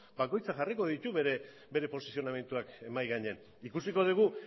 bakoitzak jarriko ditu bere posizionamenduak mahai gainean ikusiko dugu